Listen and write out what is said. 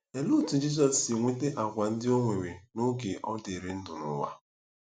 Olee otú Jizọs si nweta àgwà ndị o nwere n’oge ọ dịrị ndụ n’ụwa?